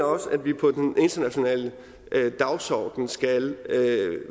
også at vi på den internationale dagsorden skal